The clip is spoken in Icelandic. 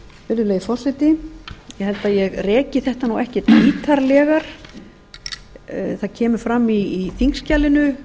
virðulegi forseti ég held að ég ekki þetta ekkert ítarlegar það koma fram í þingskjalinu